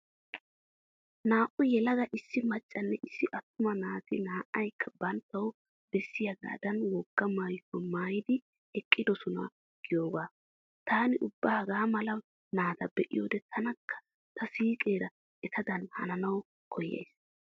Naa"u yelaga issi maccanne issi attuma naati naa"aykka banttawu bessiyagaadan wogaa maayuwa maayidi eqqidosona giyoogaa. Taani ubba hagaa mala naata be'iyoda taanikka ta siiqeera etadan hananawu koyyays.